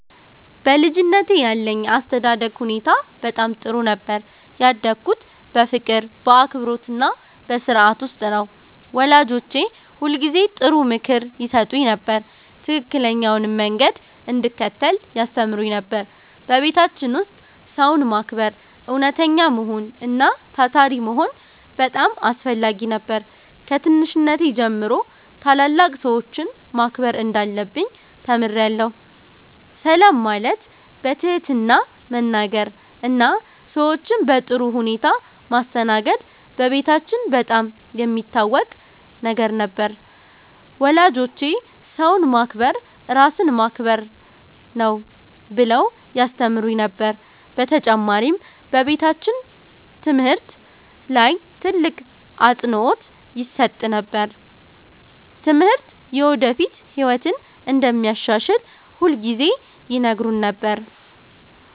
በልጅነቴ ያለኝ የአስተዳደግ ሁኔታ በጣም ጥሩ ነበር። ያደግሁት በፍቅር፣ በአክብሮትና በሥርዓት ውስጥ ነው። ወላጆቼ ሁልጊዜ ጥሩ ምክር ይሰጡኝ ነበር፣ ትክክለኛውንም መንገድ እንድከተል ያስተምሩኝ ነበር። በቤታችን ውስጥ ሰውን ማክበር፣ እውነተኛ መሆን እና ታታሪ መሆን በጣም አስፈላጊ ነበር። ከትንሽነቴ ጀምሮ ታላላቅ ሰዎችን ማክበር እንዳለብኝ ተምሬአለሁ። ሰላም ማለት፣ በትህትና መናገር እና ሰዎችን በጥሩ ሁኔታ ማስተናገድ በቤታችን በጣም የሚታወቅ ነገር ነበር። ወላጆቼ “ሰውን ማክበር ራስን ማክበር ነው” ብለው ያስተምሩን ነበር። በተጨማሪም በቤታችን ትምህርት ላይ ትልቅ አፅንዖት ይሰጥ ነበር። ትምህርት የወደፊት ህይወትን እንደሚያሻሽል ሁልጊዜ ይነግሩን ነበር።